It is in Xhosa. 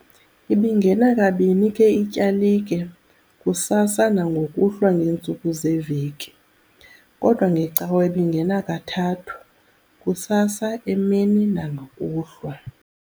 Ibingena kabini ke ityalike, kusasa nangokuhlwa ngeentsuku zeveki, kodwa ngeCawa ibingena kathathu, kusasa, emini nangokuhlwa.